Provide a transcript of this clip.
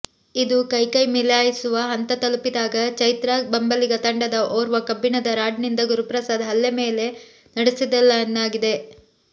ಇದು ಕೈಕೈ ಮಿಲಾಯಿಸುವ ಹಂತ ತಲುಪಿದಾಗ ಚೈತ್ರಾ ಬೆಂಬಲಿಗ ತಂಡದ ಓರ್ವ ಕಬ್ಬಿಣದ ರಾಡ್ನಿಂದ ಗುರುಪ್ರಸಾದ್ ಮೇಲೆ ಹಲ್ಲೆ ನಡೆಸಿದನೆನ್ನಲಾಗಿದೆ